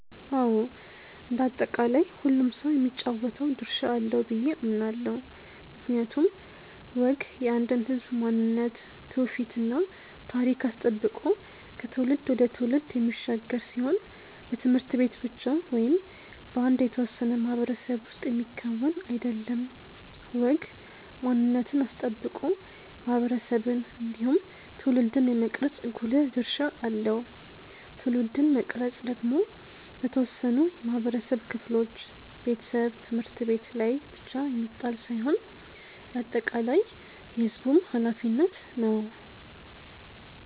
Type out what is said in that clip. አዎ እንደ አጠቃላይ ሁሉም ሰው የሚጫወተው ድርሻ አለው ብዬ አምናለው። ምክንያቱም ወግ የአንድን ህዝብ ማንነት ትውፊት እና ታሪክ አስጠብቆ ከትውልድ ወደ ትውልድ የሚሻገር ሲሆን በት/ቤት ብቻ ወይም በአንድ የተወሰነ ማህበረሰብ ውስጥ የሚከወን አይደለም። ወግ ማንነትን አስጠብቆ ማህበረሰብን እንዲሁም ትውልድን የመቅረጽ ጉልህ ድርሻ አለው። ትውልድን መቅረጽ ደግሞ በተወሰኑ የማህበረሰብ ክፍሎች (ቤተሰብ፣ ት/ቤት) ላይ ብቻ የሚጣል ሳይሆን የአጠቃላይ የህዝቡም ኃላፊነት ነው።